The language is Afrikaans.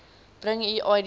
bring u idboek